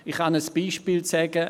Ich kann ein Beispiel nennen: